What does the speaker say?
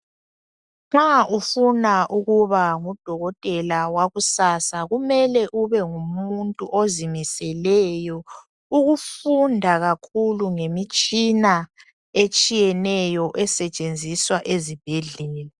Nxa ufuna ukuba ngudokotela wakusasa kumele ube ngumuntu ozimiseleyo ukufunda kakhulu ngemitshina esentshenziswa ezibhedlela.